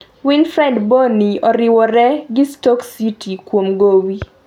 Wilfried Bonny oriwore gi Stoke City kuom gowi